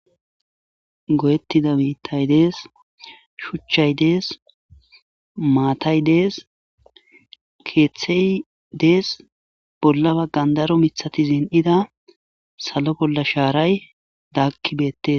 Goyettida biitay dees. Shuchchay dees. Maatay dees. Keeththey dees. bolla baggan daro mithati zin7ida salo bolla shaaray daakki beettees.